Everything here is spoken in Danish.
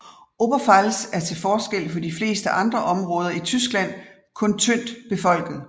Oberpfalz er til forskel for de fleste andre områder i Tyskland kun tyndt befolket